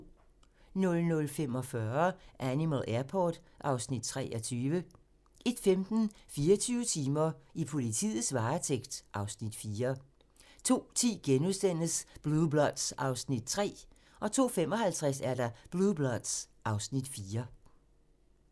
00:45: Animal Airport (Afs. 23) 01:15: 24 timer: I politiets varetægt (Afs. 4) 02:10: Blue Bloods (Afs. 3)* 02:55: Blue Bloods (Afs. 4)